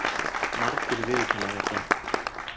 Margir viðurkenna þetta.